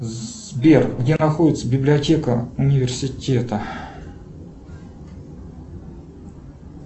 сбер где находится библиотека университета